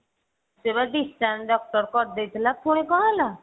ସେ ବା discharge doctor କରିଦେଇଥିଲା ପୁଣି କଣ ହେଲା?